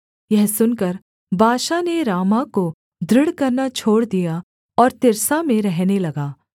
यह सुनकर बाशा ने रामाह को दृढ़ करना छोड़ दिया और तिर्सा में रहने लगा